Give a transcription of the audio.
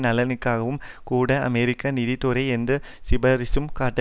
நலன்களுக்காகவும் கூட அமெரிக்க நீதித்துறை எந்த சிபாரிசும் காட்டவில்லை